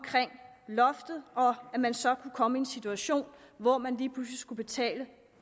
loftet og at man så kunne komme i en situation hvor man lige pludselig skulle betale